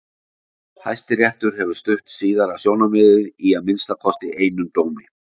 Hæstiréttur hefur stutt síðara sjónarmiðið í að minnsta kosti einum dómi.